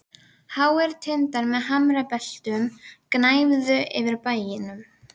Háir tindar með hamrabeltum gnæfðu yfir bænum.